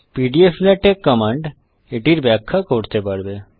pdflatex command এটির ব্যাখ্যা করতে পারবে